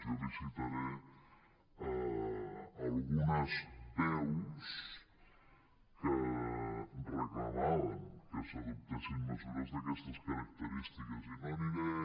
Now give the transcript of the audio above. jo li citaré algunes veus que reclamaven que s’adoptessin mesures d’aquestes característiques i no aniré